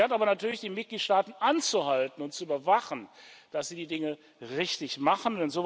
Sie hat aber natürlich die Mitgliedstaaten anzuhalten und zu überwachen, dass sie die Dinge richtig machen.